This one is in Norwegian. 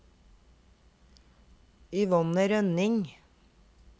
Yvonne Rønning